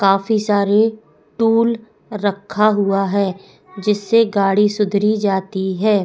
काफी सारे टूल रखा हुआ है जिससे गाड़ी सुधरी जाती है।